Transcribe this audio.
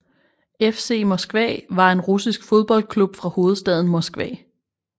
FC Moskva var en russisk fodboldklub fra hovedstaden Moskva